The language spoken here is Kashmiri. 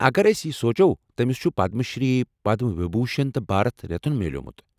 اگر أسۍ یہِ سونٛچو، تٔمس چُھ پدم شری، پدم وِبھوٗشن، تہٕ بھارت رتن میوٗلمُت ۔